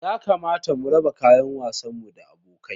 Ya kamata mu raba kayan wasan mu da abokai.